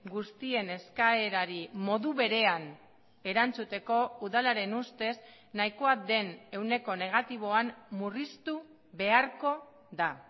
guztien eskaerari modu berean erantzuteko udalaren ustez nahikoa den ehuneko negatiboan murriztu beharko da